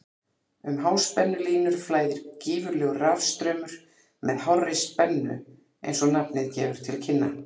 Um háspennulínur flæðir gífurlegur rafstraumur með hárri spennu eins og nafnið gefur til kynna.